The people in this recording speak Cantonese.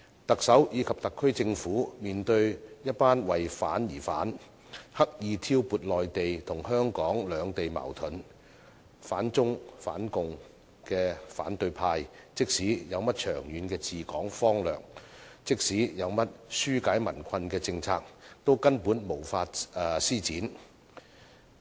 特首及特區政府面對一群為反而反、刻意挑撥內地與香港兩地矛盾、反中反共的反對派，即使有甚麼長遠治港方略和紓解民困的政策，都根本無法施展。